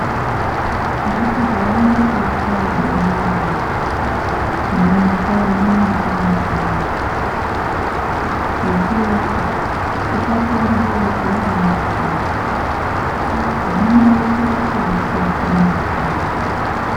Ngatihambe teichaya bemberera mumakanyi mwetinogara nekuti tisatambudze vana vadoko. Zvinoite kuti vashate masoro.